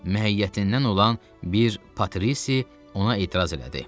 Mühəyyətindən olan bir Patrisi ona etiraz elədi.